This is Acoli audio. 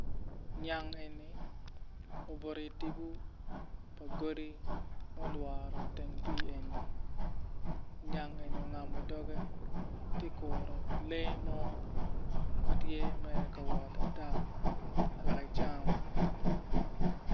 Nyang eni obuto itip pa godi ma olworo teng pii eni nyang eni ongamo doge ti kuro lee mo ma tye mere ka wot ata wek ecam.